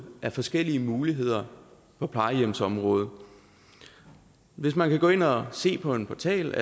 af forskellige muligheder på plejehjemsområdet hvis man kan gå ind og se på en portal